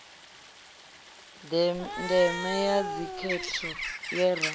deme ya dzikhetho ye ra